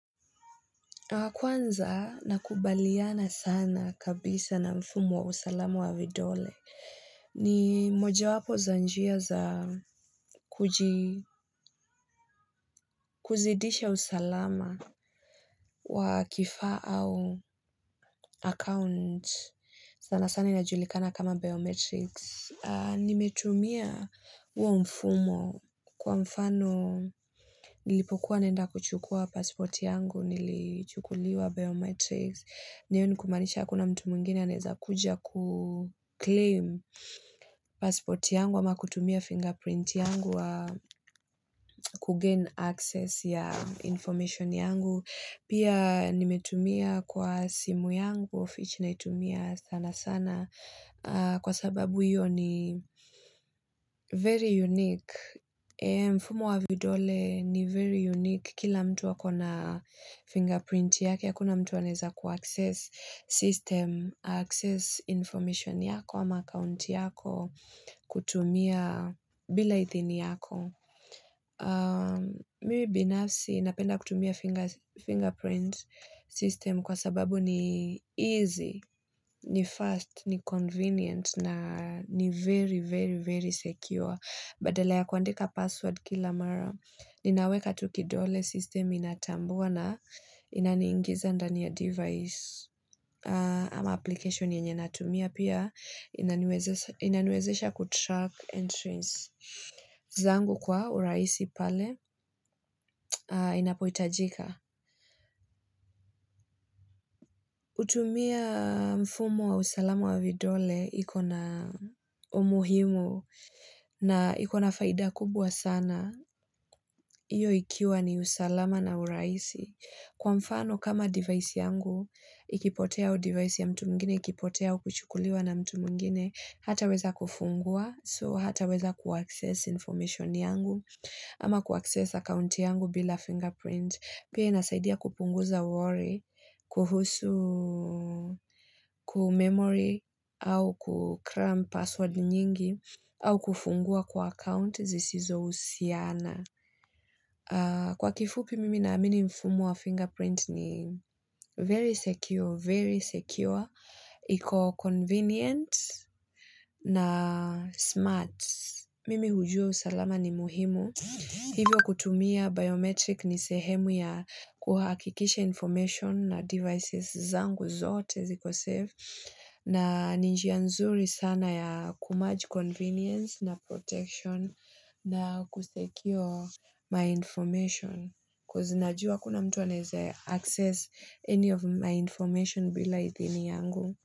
Kwanza nakubaliana sana kabisa na mfumo wa usalama wa vidole. Ni mojawapo za njia za kuzidisha usalama wa kifaa au account. Sana sana inajulikana kama biometrics. Nimetumia huo mfumo kwa mfano nilipokuwa naenda kuchukua passport yangu nilichukuliwa biometrics. Hiyo ni kumaanisha hakuna mtu mwingina anaeza kuja kuclaim passport yangu ama kutumia fingerprint yangu kugain access ya information yangu. Pia nimetumia kwa simu yangu, of which naitumia sana sana kwa sababu hiyo ni very unique. Mfumo wa vidole ni very unique. Kila mtu ako na fingerprint yake, hakuna mtu anaeza ku access system, access information yako, ama account yako, kutumia, bila idhini yako. Mimi binafsi napenda kutumia fingerprint system kwa sababu ni easy, ni fast, ni convenient na ni very, very, very secure. Badala ya kuandika password kila mara, ninaweka tu kidole, system inatambua na inaniingiza ndani ya device. Ama application yenye natumia pia inaniwezesha inaniwezesha kutrack entries zangu kwa urahisi pale inapohitajika. Kutumia mfumo wa usalama wa vidole ikona umuhimu na ikona faida kubwa sana hiyo ikiwa ni usalama na uraisi. Kwa mfano kama device yangu ikipotea au device ya mtu mwingine ikipotea au kuchukuliwa na mtu mwingine, hataweza kufungua so hata weza kuaccess information yangu. Ama kuaccess account yangu bila fingerprint. Pia inasaidia kupunguza worry, kuhusu, kumemory, au kukram password nyingi, au kufungua kwa account zisizohusiana. Kwa kifupi mimi naamini mfumo wa fingerprint ni very secure, very secure. Iko convenient na smart. Mimi hujua usalama ni muhimu Hivyo kutumia biometric ni sehemu ya kuhakikisha information na devices zangu zote ziko safe. Na ni njia nzuri sana ya kumarge convenience na protection na kusecure my information. Coz najua hakuna mtu anaeze access any of my information bila idhini yangu.